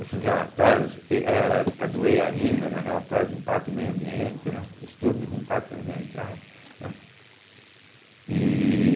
Esses relatórios, e era a época do eia rima, né, Relatórios de Impacto no Meio Ambiente, né, Estudos de Impacto Ambiental, né. E